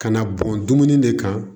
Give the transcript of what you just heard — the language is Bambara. Kana bɔn dumuni ne kan